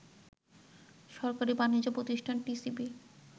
সরকারি বাণিজ্য প্রতিষ্ঠান টিসিবি